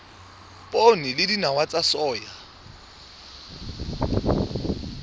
poone le dinawa tsa soya